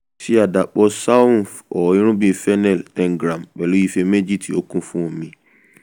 ṣe àdàpọ̀ saunf (irúgbìn fennel) ten gram pẹ̀lú ife méjì tí ó kún fún omi